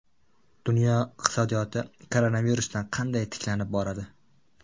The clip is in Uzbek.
Dunyo iqtisodiyoti koronavirusdan qanday tiklanib boradi?